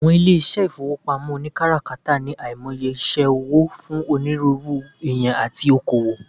Awon ile ifowopamo onikarakata ni aimoye ise owo fun oniruuru eeyan ati oko-owo